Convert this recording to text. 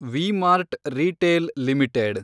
V-Mart retail limited